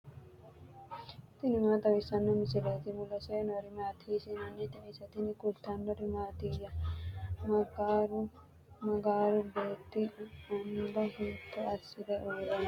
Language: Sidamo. tini maa xawissanno misileeti ? mulese noori maati ? hiissinannite ise ? tini kultannori mattiya? Magaaru beetti anga hiitto asire uure noo?